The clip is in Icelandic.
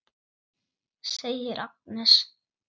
segir Agnes.